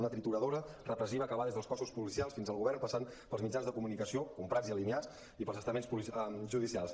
una trituradora repressiva que va des dels cossos policials fins al govern passant pels mitjans de comunicació comprats i alineats i pels estaments judicials